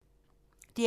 DR P2